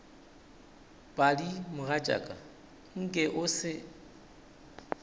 padi mogatšaka nke o se